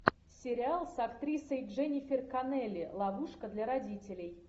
сериал с актрисой дженнифер коннелли ловушка для родителей